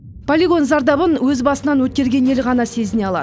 полигон зардабын өз басынан өткерген ел ғана сезіне алады